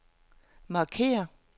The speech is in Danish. markér